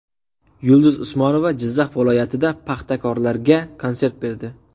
Yulduz Usmonova Jizzax viloyatida paxtakorlarga konsert berdi.